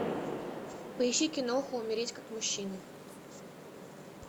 поищи киноху умереть как мужчина